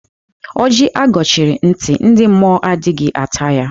Ọjị a gọchiri ntị, ndị mmụọ adịghị ata ya.